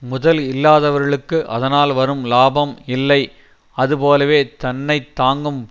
முதல் இல்லாதவர்களுக்கு அதனால் வரும் லாபம் இல்லை அதுபோலவே தன்னை தாங்கும்